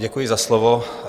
Děkuji za slovo.